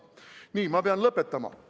Nii, ma pean lõpetama.